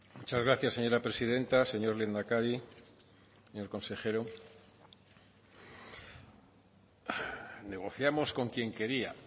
muchas gracias señora presidenta señor lehendakari señor consejero negociamos con quien quería